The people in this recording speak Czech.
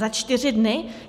Za čtyři dny?